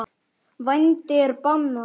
Vændi er bannað.